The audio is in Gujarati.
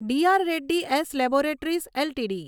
DR Reddy's laboratories LTD